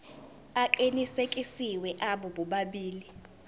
aqinisekisiwe abo bobabili